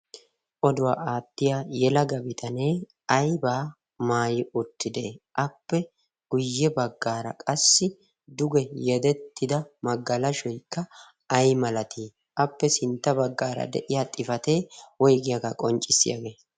oduwaa aattiya yelaga bitanee aibaa maayi uttidee appe guyye baggaara qassi duge yedettida maggalashoikka ai malatii appe sintta baggaara de'iya xifatee woigiyaagaa qonccissiyaagee?